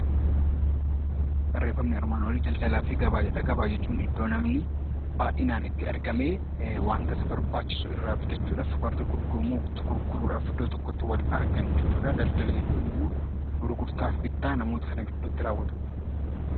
Gabaa jechuun iddoo namni baay'inaan itti argamee wanta isa barbaachisu irraa bitachuudhaaf kan gurguramu gurguruudhaaf kan iddoo tokkotti wal argan jechudha. Daldala jechuun immoo gurgurtaa fi bittaa namoota sana gidduutti raawwatudha.